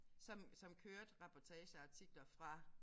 Som som kørte reportager og artikler fra